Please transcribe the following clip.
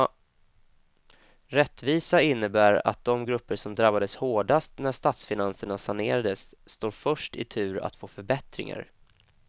Rättvisa innebär att de grupper som drabbades hårdast när statsfinanserna sanerades står först i tur att få förbättringar.